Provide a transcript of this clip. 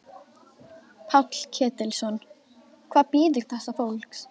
Páll Ketilsson: Hvað bíður þessa fólks?